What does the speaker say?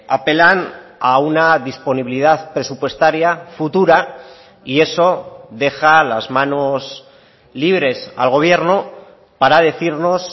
apelan a una disponibilidad presupuestaria futura y eso deja las manos libres al gobierno para decirnos